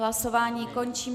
Hlasování končím.